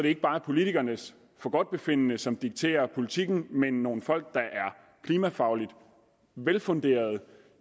ikke bare er politikernes forgodtbefindende som dikterer politikken men nogle folk der er klimafagligt velfunderede